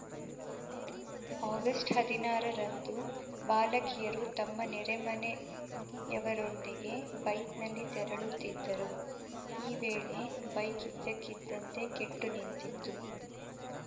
August ಹದಿನಾರರಂದು ಬಾಲಕಿಯರು ತಮ್ಮ ನೆರೆಮನೆಯವರೊಂದಿಗೆ ಬೈಕ್‌ನಲ್ಲಿ ತೆರಳುತ್ತಿದ್ದರು ಈ ವೇಳೆ ಬೈಕ್‌ ಇದ್ದಕ್ಕಿದ್ದಂತೆ ಕೆಟ್ಟುನಿಂತಿತ್ತು